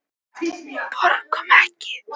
Borgum Ekki!